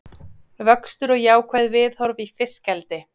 Vöxtur og jákvæð viðhorf í fiskeldi